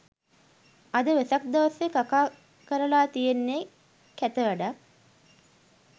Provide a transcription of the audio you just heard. අද වෙසක් දවසේ කකා කරලා තියෙන්නේ කැත වැඩක්